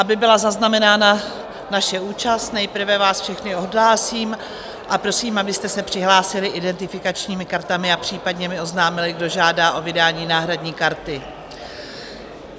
Aby byla zaznamenána naše účast, nejprve vás všechny odhlásím a prosím, abyste se přihlásili identifikačními kartami a případně mi oznámili, kdo žádá o vydání náhradní karty.